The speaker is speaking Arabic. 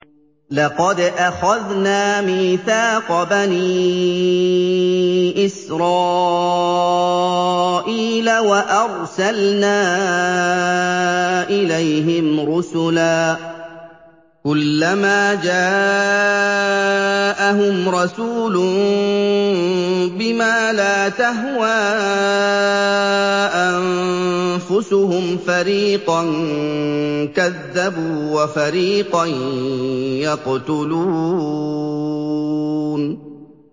لَقَدْ أَخَذْنَا مِيثَاقَ بَنِي إِسْرَائِيلَ وَأَرْسَلْنَا إِلَيْهِمْ رُسُلًا ۖ كُلَّمَا جَاءَهُمْ رَسُولٌ بِمَا لَا تَهْوَىٰ أَنفُسُهُمْ فَرِيقًا كَذَّبُوا وَفَرِيقًا يَقْتُلُونَ